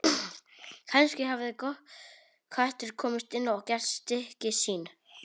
Kannski hafði köttur komist inn og gert stykki sín.